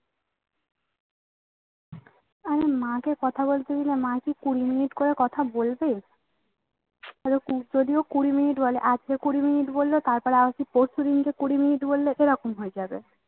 আমার মা কে কথা বলতে দিলে মা কি কুড়ি minute করে কথা বলবে যদিও কুড়ি minute বলে কুড়ি minute বললে তারপরে আর কি কুড়ি minute বললে কিরকম হয়ে যাবে